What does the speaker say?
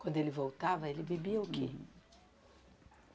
Quando ele voltava, ele bebia o quê?